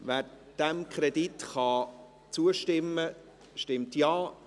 Wer diesem Kredit zustimmen kann, stimmt Ja,